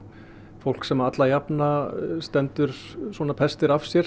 fólk sem alla jafna stendur pestir af sér